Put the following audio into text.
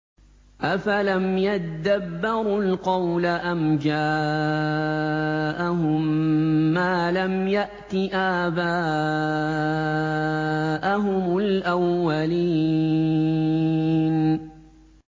أَفَلَمْ يَدَّبَّرُوا الْقَوْلَ أَمْ جَاءَهُم مَّا لَمْ يَأْتِ آبَاءَهُمُ الْأَوَّلِينَ